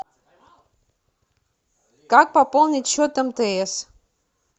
как пополнить счет мтс